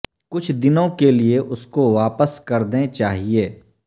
کچھ دنوں کے لئے اس کو واپس کر دیں چاہئے